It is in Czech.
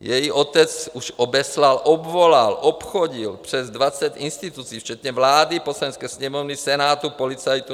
Její otec už obeslal, obvolal, obchodil přes 20 institucí včetně vlády, Poslanecké sněmovny, Senátu, policajtů.